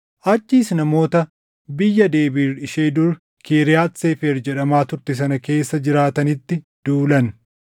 Achiis namoota biyya Debiir ishee dur Kiriyaati Seefer jedhamaa turte sana keessa jiraatanitti duulan.